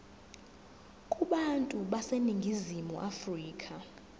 kubantu baseningizimu afrika